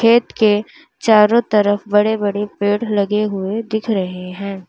खेत के चारों तरफ बड़े बड़े पेड़ लगे हुए दिख रहे हैं।